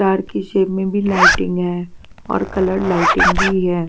Dark की shape में भी लाइटिंग है और कलर लाइटिंग भी है.